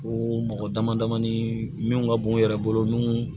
Ko mɔgɔ damadama ni min ka bon yɛrɛ bolo n'u